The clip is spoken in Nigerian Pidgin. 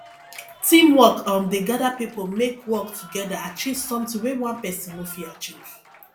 teamwork um dey gather pipo make work togeda achieve sometin wey one pesin no fit achieve